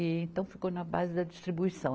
E então, ficou na base da distribuição.